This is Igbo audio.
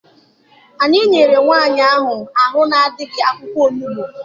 Anyị nyere nwaanyị ahụ arụ adịghị akwụkwọ onugbu.